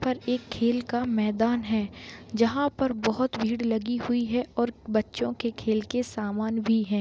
यहाँ पर एक खेल का मैदान है जहां पर बहुत भीड़ लगी हुई है और बच्चे को खेल का सामान भी है।